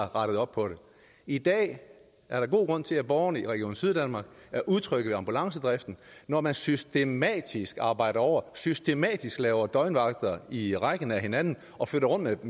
rettet op på det i dag er der god grund til at borgerne i region syddanmark er utrygge ved ambulancedriften når man systematisk arbejder over systematisk laver døgnvagter i rækken af hinanden og flytter rundt